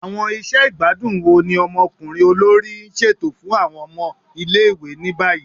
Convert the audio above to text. Awọn iṣẹ igbadun wo ni ọmọkunrin olori n ṣeto fun awọn ọmọ ile-iwe ni bayi?